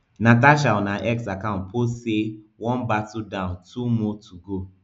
natasha on her x account post say one battle down two more to go